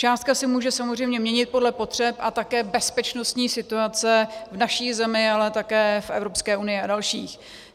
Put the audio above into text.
Částka se může samozřejmě měnit podle potřeb a také bezpečnostní situace v naší zemi, ale také v EU a dalších.